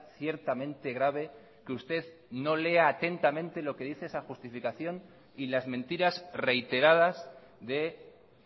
ciertamente grave que usted no lea atentamente lo que dice esa justificación y las mentiras reiteradas de